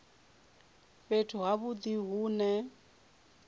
fhethu ha vhudi hu ne